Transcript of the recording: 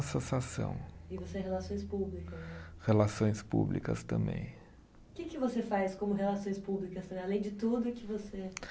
Associação. E você é relações públicas, né? Relações públicas também. O que que você faz como relações públicas assim, além de tudo que você